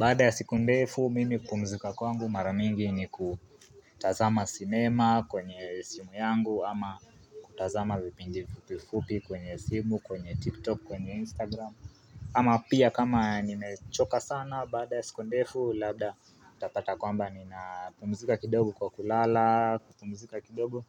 Baada ya siku ndefu mimi kupumzika kwangu maramingi ni kutazama cinema kwenye simu yangu ama kutazama vipindi fupifupi kwenye simu kwenye tiktok kwenye instagram ama pia kama nimechoka sana baada ya siku ndefu, labda utapata kwamba ninapumuzika kidogo kwa kulala, kupumuzika kidogo